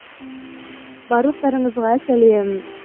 барлықтарыңызға сәлем